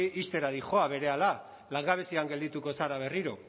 ixtera dihoa berehala langabezian geldituko zara berriro